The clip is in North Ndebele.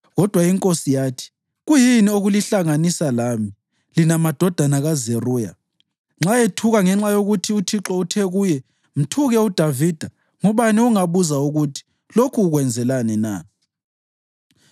Kodwa inkosi yathi, “Kuyini okulihlanganisa lami, lina madodana kaZeruya? Nxa ethuka ngenxa yokuthi uThixo uthe kuye, ‘Mthuke uDavida,’ ngubani ongabuza ukuthi, ‘Lokhu ukwenzelani na?’ ”